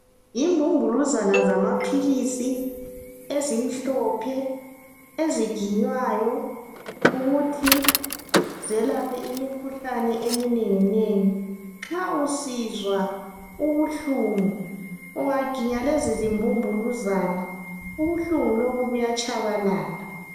Yimbumbuluzana zamaphilisi ezimhlophe eziginywayo ukuthi zelaphe imikhuhlane eminenginengi. Nxa usizwa ubuhlungu ungaginya lezi zimbumbuluzana ubuhlungu lobu buyatshabalala.